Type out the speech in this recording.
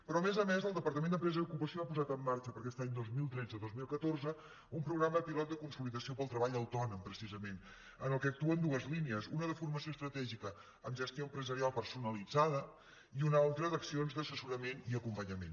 però a més a més el departament d’empresa i ocupació ha posat en marxa per a aquest any dos mil tretze dos mil catorze un programa pilot de consolidació per al treball autònom precisament en el qual actuen dues línies una de formació estratègica amb gestió empresarial personalitzada i una altra d’accions d’assessorament i acompanyament